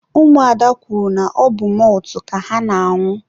ụmụada kwuru na ọbụ mọltụ ka ha na-añụ.